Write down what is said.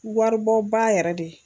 Waribɔba yɛrɛ de